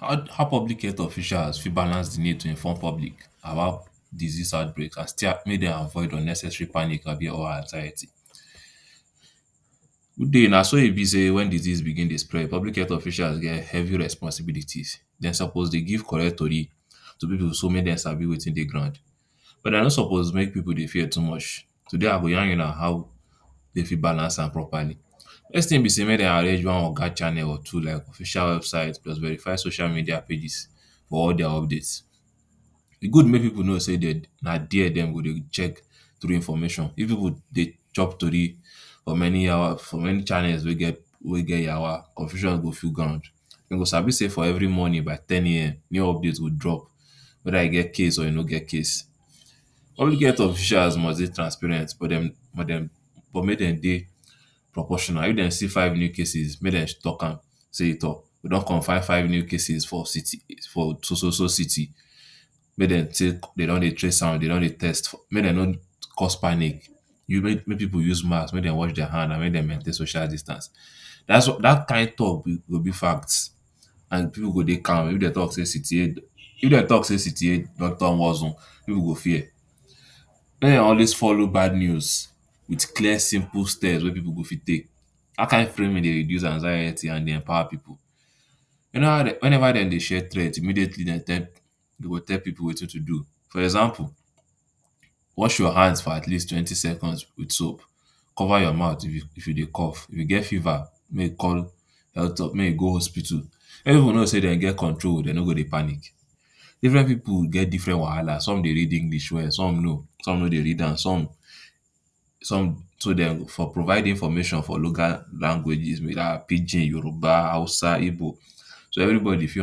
Ho-how public health officials fit balance d need to inform public about disease outbreak and may dey avoid unnecessary panic ahbi or anxiety, naso e b say wen diseases dey begin dey spread publc health officials get heavy responsibility dem suppose dey give correct tori to pipul make dem sabi wetin dey grand but dem no suppose make people fear too much today I go yarn una how dem fit balance am properly first thing b say make dem arrange one channel or two channel like official website plus verified social media pages for all their updates, e good make people know say na there dem go check true information if people dey chop tori for many yawa for many channels wey get yawa confusion go full ground dem go sabi say for every morning by 10am new update go drop weda e get case or e no get case public health officials must dey transparent but dem but dem but make dem dey proportional if dem see five new cases make dem talk am say toh we don confam five new cases for city for so so so city make dem take dem don dey trace am dey don dey test may dem no cause panic make people use mask wash their hand make dem maintain social distance dat dat kin talk go b facts and people go dey calm, if dem talk say city a if dem talk say city a don turn war zone people go fear make dem always follow bad news with clear simple steps wey people fit take dat kind dey reduce anxiety and dey empower people wen ever dem dey share threat immediately dem tell dem go tell people wetin to do for example wash your hands for atleast twenty seconds with soap cover your mouth if u if u dey cough if u get fever may u call may you go hospitol, wen people know say dem get control dem no go dey panic, different people get different wahala some dey read English well some know some no dey read am some some some too dem for provide information for logal languages pidgin yourba hausa igbo so everybody fit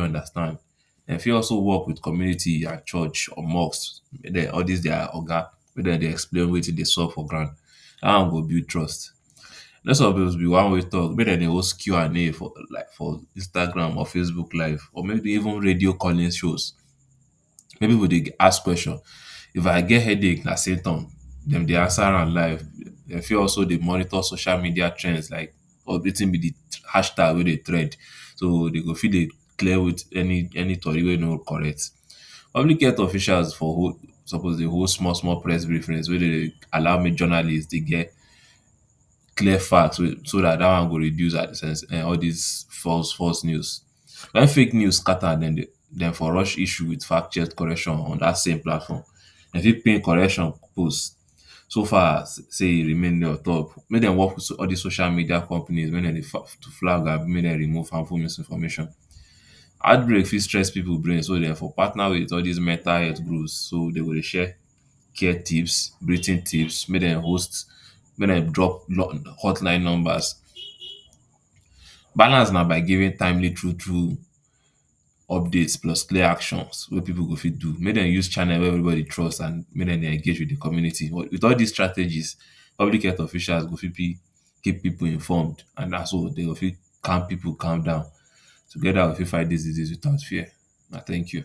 understand dem fit also work with community church or mosque all dis their oga make dem dey explain wetin dey sup for ground dat one go build trust suppose be one way talk make dem dey host Q&A for like Instagram or facebook live or maybe even radio calling shows, may people go dey ask questions, If I get headache nah say tom dem dey answer am live dem fit also dey monitor social media trends like wetin b d hash tag wey dey trend so dem go fit dey clear any any tori wey no correct. Public health officials for hold suppose dey hold small small press briefings wey dey dey allow may journalist dey get clear facts so dat dat one go dey reduce all dis um false false news, wen fake news scatter dey dem for rush issue with fact check correction on dat same platform dem fit pay correction so far as say e remain ontop make dem work with all dis social media companies make dem dey to flag ahbi make dem dey remove harmful misinformation, heartbreak fit stress people brain so dem for partner with all dis mental health so dem go dey share care tips, tips may dem host may dem drop hotline numbers. Balance na by giving timely true true updates plus clear actions wey people go fit do make dem use channels wey people trust make dem dey engage community, with all dis strategies public health officials go fit keep people informed and naso dem go fi calm people calm down togeda we fit fight dis disease without fear, una thank you.